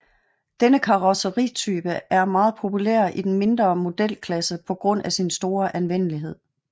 Denne karrosseritype er meget populær i den mindre modelklasse på grund af sin store anvendelighed